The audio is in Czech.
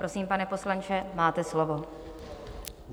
Prosím, pane poslanče, máte slovo.